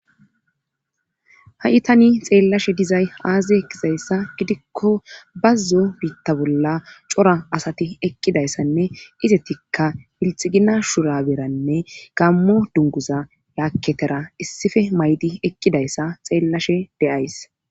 ha7itani xeellashe dizay aaze gizayssa gidikko bazzo biitta bolla cora asati eqqidayssanne izetikka hilxigina shura beranne gammo dunguza yaakketera issife maydi eqqidayssa xeellashe deyays